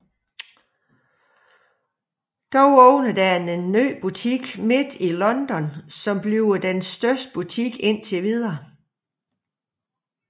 Dog åbner der en ny butik midt i London som bliver den største butik indtil videre